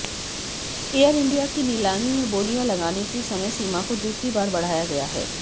air India की नीलामी में बोलियां लगाने की समयसीमा को दूसरी बार बढ़ाया गया है